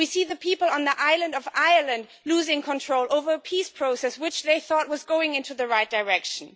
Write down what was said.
We see the people on the island of Ireland losing control over the peace process which they thought was going in the right direction.